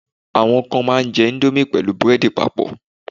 awon kan ma n je Indomie pẹlu bread papọ